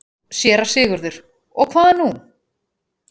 SÉRA SIGURÐUR: Og hvað nú?